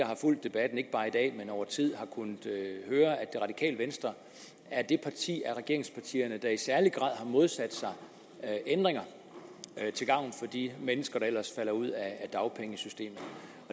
har fulgt debatten ikke bare i dag men over tid har kunnet høre at det radikale venstre er det parti af regeringspartierne der i særlig grad har modsat sig ændringer til gavn for de mennesker der ellers falder ud af dagpengesystemet